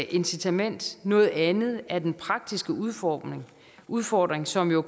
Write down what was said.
incitament noget andet er den praktiske udfordring udfordring som jo